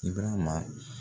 Ibirama